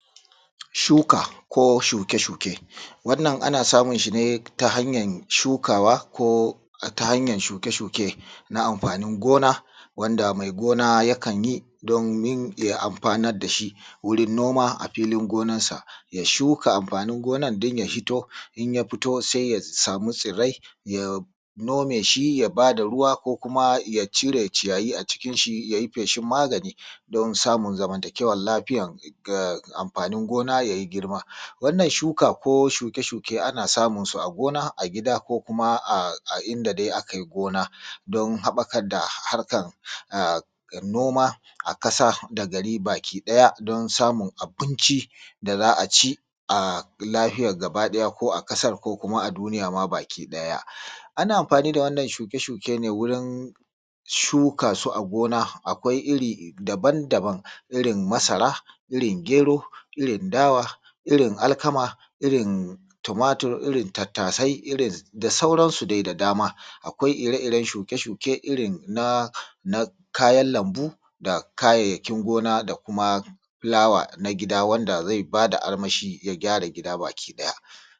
Shuka ko shuke-shuke, wannan ana samun shi ne ta hanyar shukawa ko ta hanyar shuke-shuke ga anfanin gona wanda mai gona yakan yi domin ya anfanar da shi wurin noma a filin gona sa ya shuka anfanin gonar dan ya fito sai ya samu tsirrai ya noma shi ya ba da ruwa ya cire ciyayi a cikin shi ya yi feshin magani don samun zamantakewar lafiyar anfani gona ya yi girma. Wannan shuka ko shuke-shuke ana samunsu a gona ko gida ko kuma inda dai aka yi gona don haɓɓakar da noma a ƙasa baki ɗaya don samun abinci da za a ci don samun lafiyar gaba ɗaya ƙasar ko a duniya ma baki ɗaya. Ana anfani da wannan shuke-shuke ne ɗon shuka su a gona akwai iri daban daban-daban, irin masara, irin gero, irin dawa, irin alkama ,irin tumatur, irin tattasai da sauransu da dama. Akwai ire-iren shuke-shuke irin na kayan lambu da kayayyakin gona da fulawa na gida wanda zai ba da armashi kuma ya gyara gida baki ɗaya.